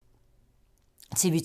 TV 2